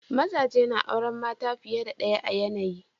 Mazaje na auren mata fiye da ɗaya a yanayi.